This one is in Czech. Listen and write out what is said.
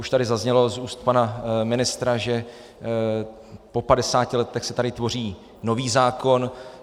Už tady zaznělo z úst pana ministra, že po 50 letech se tady tvoří nový zákon.